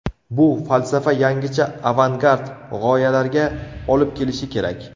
Bu falsafa yangicha avangard g‘oyalarga olib kelishi kerak.